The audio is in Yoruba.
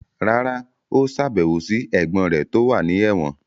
rárá, ó sàbẹ̀wò sí ẹ̀gbọ́n rẹ̀ tó wà ní ẹ̀wọ̀n.